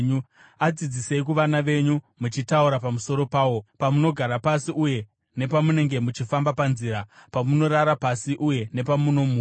Adzidzisei kuvana venyu, muchitaura pamusoro pawo pamunogara pasi uye nepamunenge muchifamba panzira, pamunorara pasi uye nepamunomuka.